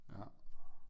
Ja